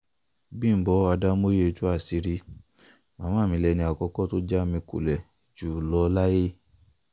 bímbọ́ adámòye tú àṣírí màmá mi lẹni àkọ́kọ́ tó já mi kulẹ̀ jù lọ láyé